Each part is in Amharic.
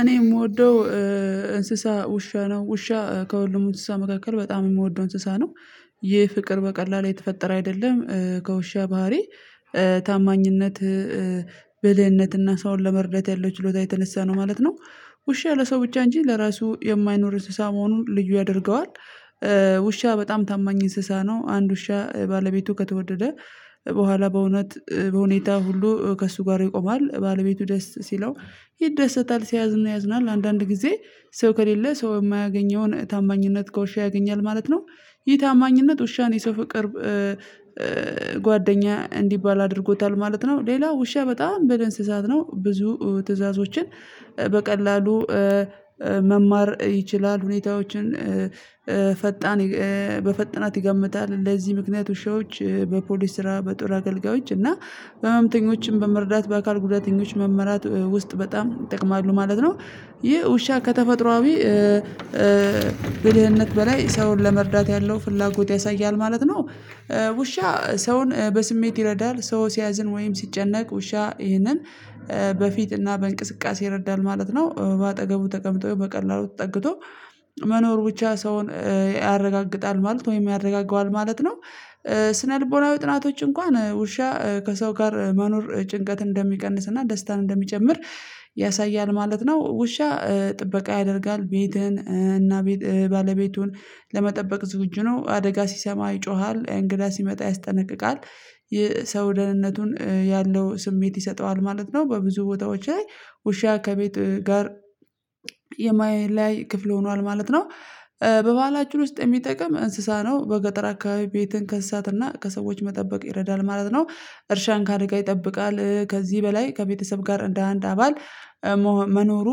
እኔ የምወደው እንስሳ ውሻ ነው። ውሻ ከሁሉም እንስሳ መካከል በጣም የምወደው እንስሳ ነው። ይህ ፍቅር በቀላሉ የተፈጠረ አይደለም። ከውሻ ባህሪ ታማኝነት ብልህነት እና ሰዉን ለመርዳት ያለው ችሎታ የተነሳ ነው ማለት ነው። ውሻ ለሰው ብቻ እንጂ ለራሱ የማይኖር እንስሳ መሆኑን ልዩ ያደርገዋል። ውሻ በጣም ታማኝ እንስሳ ነው። አንድ ውሻ ባለቤቱ ከተወደደ በኋላ በእውነት በሁኔታ ሁሉ ከእሱ ጋር ይቆማል። ባለቤቱ ደስ ሲለው ይደሰታል ሲያዝን ያዝናል። አንዳንድ ጊዜ ሰው ከሌለ ሰው የማያገኘውን ታማኝነት ከውሻ ያገኛል ማለት ነው። ይሄ ታማኝነት ውሻን የሰው ፍቅር ጓደኛ እንዲባል አድርጎታል ማለት ነው። ሌላ ውሻ በጣም ብልህ እንስሳት ነው። ብዙ ትዕዛዞችን በቀላሉ መማር ይችላል። ሁኔታዎችን ፈጣን በፍጥነት ይገምታል። ለዚህ ምክንያት ውሾች በፖሊስ ስራ በጦር አገልጋዮች እና ህመምተኞችን በመርዳት በአካል ጉዳተኞች መመራት ውስጥ በጣም ይጠቅማሉ ማለት ነው። ይህ ውሻ ከተፈጥሮአዊ ብልህነት በላይ ሰውን ለመርዳት ያለው ፍላጎት ያሳያል ማለት ነው። ውሻ ሰውን በስሜት ይረዳል። ሰው ሲያዝን ወይም ሲጨነቅ ውሻ ይህንን በፊትና በእንቅስቃሴ ይረዳል ማለት ነው። በአጠገቡ ተቀምጦ በቀላሉ ተጠግቶ መኖር ብቻ ሰውን ያረጋግጣል ማለት ወይም ያረጋግጣል ማለት ነው። ስነልቦናዊ ጥናቶች እንኳን ውሻ ከሰው ጋር መኖር ጭንቀት እንደሚቀንስና ደስታን እንደሚጨምር ያሳያል ማለት ነው። ውሻ ጥበቃ ያደርጋል ቤትህን እና ባለቤቱን ለመጠበቅ ዝግጁ ነው አደጋ ሲሰማ ይጮሃል እንግዳ ሲመጣ ያስጠነቅቃል የሰው ደህንነቱን ያለው ስሜት ይሰጠዋል ማለት ነው። በብዙ ቦታዎች ላይ ውሻ ከቤት ጋር የማይለያይ ክፍል ሆኗል ማለት ነው። በበሃላችን ውስጥ የሚጠቅም እንስሳ ነው። በገጠር አካባቢ ቤትን ከእንሳትና ከሰዎች መጠበቅ ይረዳል ማለት ነው። እርሻን ካደጋ ይጠብቃል። ከዚህ በላይ ከቤተሰብ ጋር እንደ አንድ አባል መኖሩ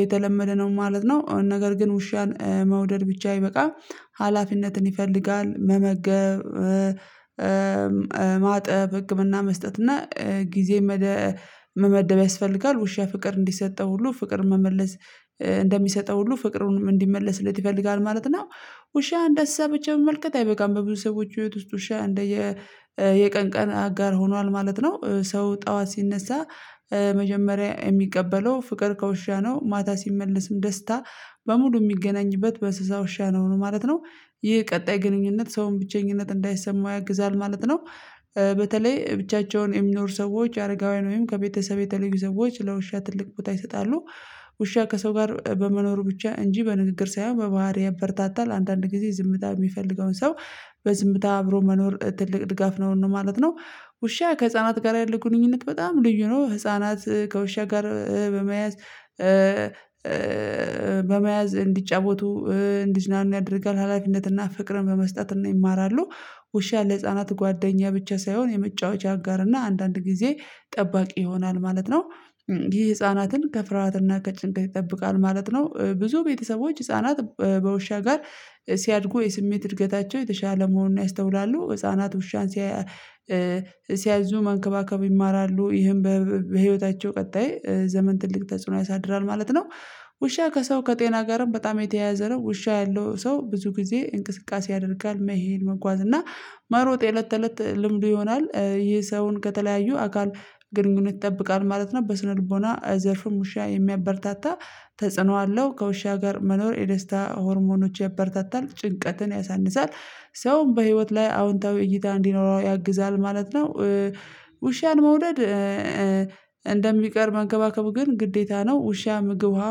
የተለመደ ነው ማለት ነው። ነገር ግን ውሻን መውደድ ብቻ አይበቃም ሀላፊነትን ይፈልጋል መመገብ ማጠብ ህክምና መስጠት እና ጊዜ መመደብ ያስፈልጋል። ውሻ ፍቅር እንዲሰጠው ሁሉ ፍቅር መመለስ እንደሚሰጠው ሁሉ ፍቅሩንም እንዲመለስለት ይፈልጋል ማለት ነው። ውሻ እንደ እንስሳ ብቻ መመልከት አይበቃም። በብዙ ሰዎች ህይወት ውሻ እንደየ የቀን ቀን አጋር ሆኗል ማለት ነው። ሰው ጠዋት ሲነሳ መጀመሪያ የሚቀበለው ፍቅር ከውሻ ነው። ማታ ሲመለስም ደስታ በሙሉ ሚገናኝበት በእንስሳ ውሻ ነው ማለት ነው። ይህ ቀጣይ ግንኙነት ሰውን ብቸኝነት እንዳይሰማው ያግዛል ማለት ነው። በተለይ ብቻቸውን የሚኖሩ ሰዎች አረጋውያን ወይም ከቤተሰብ የተለዩ ሰዎች ለውሻ ትልቅ ቦታ ይሰጣሉ። ውሻ ከሰው ጋር በመኖሩ ብቻ እንጂ በንግግር ሳይሆን በባህሪ በረታታል። አንዳንድ ጊዜ ዝምታ የሚፈልገውን ሰው በዝምታ አብሮ መኖር ትልቅ ድጋፍ ነው እንደማለት ነው። ውሻ ከህፃናት ጋር ያለ ግንኙነት በጣም ልዩ ነው ህፃናት ከውሻ ጋር በመያዝ በመያዝ እንዲጫወቱ እንዲዝናኑ ያደርጋል ሀላፊነትና ፍቅርን በመስጠት ይማራሉ። ውሻ ለህፃናት ጓደኛ ብቻ ሳይሆን የመጫወቻ አጋርና አንዳንድ ጊዜ ጠባቂ ይሆናል ማለት ነው። ይህ ህፃናትን ከፍርሃትና ከጭንቀት ይጠብቃል ማለት ነው። ብዙ ቤተሰቦች ህፃናት በውሻ ጋር ሲያድጉ የስሜት እድገታቸው የተሻለ መሆኑን ያስተውላሉ ህፃናት ውሻን ሲያዙ መንከባከቡ ይማራሉ ይህም በህይወታቸው ቀጣይ ዘመን ትልቅ ተጽዕኖ ያሳድራል ማለት ነው። ውሻ ከሰው ከጤና ጋርም በጣም የተያያዘ ነው ውሻ ያለው ሰው ብዙ ጊዜ እንቅስቃሴ ያደርጋል መሄድ መጓዝ እና መሮጥ የእለት ተእለት ልምዱ ይሆናል። ይህ ሰውን ከተለያዩ አካል ግንኙነት ይጠብቃል ማለት ነው። በስነልቦና ዘርፍም ውሻ የሚያበረታታ ተጽዕኖ አለው ከውሻ ጋር መኖር የደስታ ሆርሞኖች ያበረታታል። ጭንቀትን ያሳንሳል። ሰውም በህይወት ላይ አዎንታዊ እይታ እንዲኖረው ያግዛል ማለት ነው። ውሻን መውደድ እንደሚቀር መንከባከቡ ግን ግዴታ ነው። ውሻ ምግብ ውሃ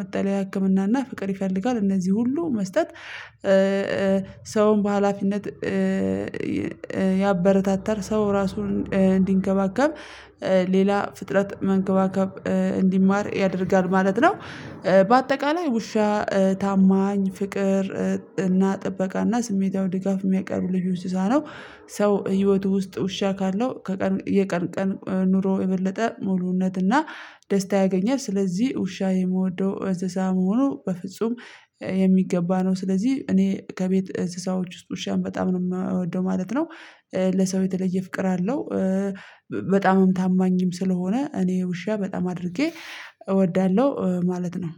መጠለያ ህክምና እና ፍቅር ይፈልጋል እነዚህ ሁሉ መስጠት ሰውን በሃላፊነት ያበረታታል። ሰው ራሱን እንዲንከባከብ ሌላ ፍጥረት መንከባከብ እንዲማር ያደርጋል ማለት ነው። በአጠቃላይ ውሻ ታማኝ ፍቅር እና ጥበቃ እና ስሜታዊ ድጋፍ የሚያቀርብ ልዩ እንስሳ ነው። ሰው ህይወቱ ውስጥ ውሻ ካለው የቀን ቀን ኑሮ የበለጠ ሙሉነትና ደስታ ያገኛል። ስለዚህ ውሻ የምወደው እንስሳ መሆኑ በፍጹም የሚገባ ነው። ስለዚህ እኔ ከቤት እንስሳዎች ውስጥ ውሻን በጣም ነው የምወደው ማለት ነው። ለሰው የተለየ ፍቅር አለው። በጣምም ታማኝም ስለሆነ እኔ ውሻ በጣም አድርጌ እወዳለሁ ማለት ነው።